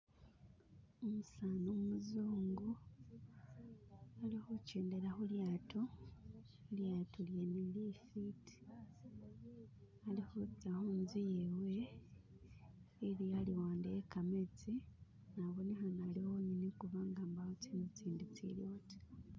Umusani umuzungu alikhujedela khulyato lilyato lyene lifiti ali khutsa huntsu yewe ili haluwande he khametsi na abonekhana aliwoyenyene kubanga mbawo tsinzu tsindi tsiliwo ta